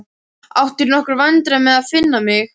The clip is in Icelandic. Áttirðu í nokkrum vandræðum með að finna mig?